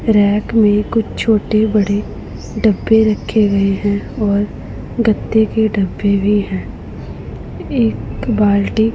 rack में कुछ छोटे बड़े डब्बे रखे गए हैं और गद्दे भी डब्बे भी है एक बाल्टी--